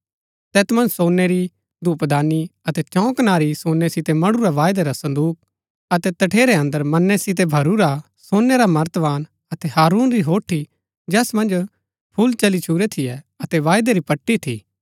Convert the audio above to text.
तैत मन्ज सोनै री धूपदानी अतै चौं कनारी सोनै सितै मढुरा वायदै रा संदूक अतै तठेरै अन्दर मन्नै सितै भरिऊरा सोनै रा मर्तमान अतै हारून री होठी जैस मन्ज फूल चली छुरै थियै अतै वायदै री पट्टी थी